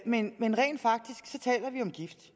men rent faktisk taler vi om gift